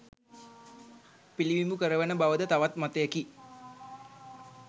පිළිබිඹු කරවන බවද තවත් මතයකි